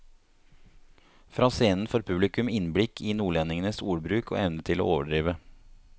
Fra scenen får publikum innblikk i nordlendingenes ordbruk og evne til å overdrive.